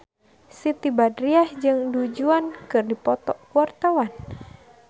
Siti Badriah jeung Du Juan keur dipoto ku wartawan